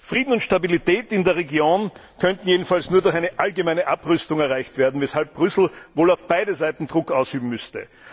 Frieden und Stabilität in der Region könnten jedenfalls nur durch eine allgemeine Abrüstung erreicht werden, weshalb Brüssel wohl auf beide Seiten Druck ausüben müsste.